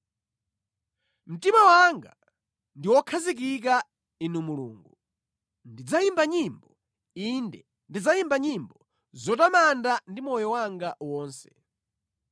Mtima wanga ndi wokhazikika, Inu Mulungu; ndidzayimba nyimbo, inde ndidzayimba nyimbo zotamanda ndi moyo wanga wonse.